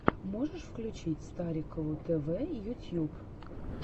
можешь включить старикову т в ютьюб